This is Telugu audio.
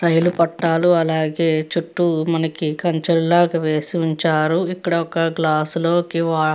రైలు పట్టాలు అలాగే చుట్టూ మనకి కంచె లాగా వేసి ఉంచారు ఇక్కడ ఒక గ్లాస్ లోకి .